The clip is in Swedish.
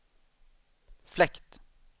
fläkt